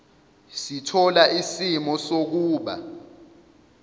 sithola isimo sokuba